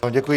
Děkuji.